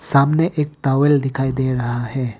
सामने एक टॉवेल दिखाई दे रहा है।